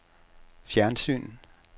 fjernsyn